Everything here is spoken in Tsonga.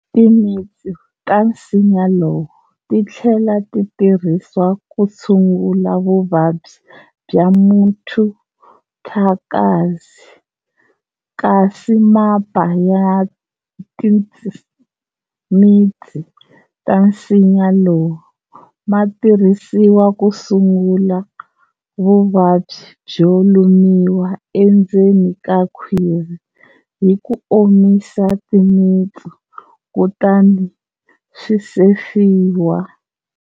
Timitsu ta nsinya lowu ti tlhela ti tirhisiwa ku tshungula vuvabyi bya muthundakazi kasi mapa ya timitsu ta nsinya lowu ma tirhisiwa ku tshungula vuvabyi byo lumiwa endzen ka khwiri hi ku omisa timitsu kutani swi sefiwa.